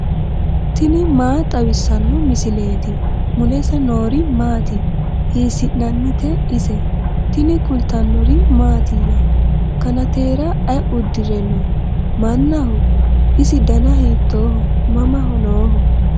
tini maa xawissanno misileeti ? mulese noori maati ? hiissinannite ise ? tini kultannori mattiya? Kannateera ayi udirre noo? Mannaho? isi danna hiittoho? mama nooho?